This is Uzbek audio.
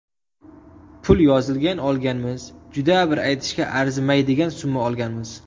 Pul yozilgan olganmiz, juda bir aytishga arzimaydigan summa olganmiz.